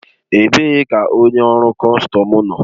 Ebee ka onye ọrụ kọstọm nọ?